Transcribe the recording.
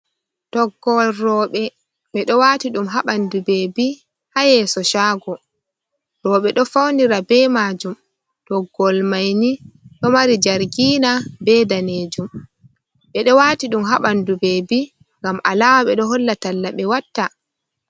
Toggowol roɓe ɓeɗo wati ɗum ha ɓandu bebi ha yeeso shago roɓe do faunira be majum toggol mai ni ɗo mari jargina be danejum ɓedo wati ɗum ha ɓandu beebi ngam alama ɓeɗo holla talla ɓe watta.